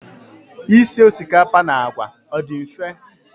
Isi osikapa na àgwà, ọ dị mfe?